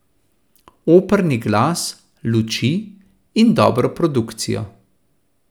Operni glas, luči in dobro produkcijo.